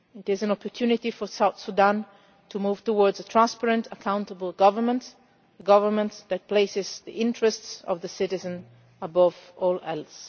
It is an opportunity for South Sudan to move towards a transparent, accountable government a government that places the interests of the citizen above all else.